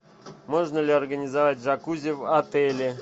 можно ли организовать джакузи в отеле